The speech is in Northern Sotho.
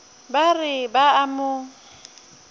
ba re ba a mo